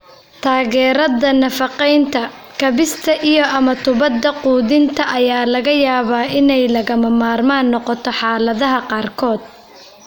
Taageerada nafaqeynta, kaabista iyo ama tuubada quudinta ayaa laga yaabaa inay lagama maarmaan noqoto xaaladaha qaarkood.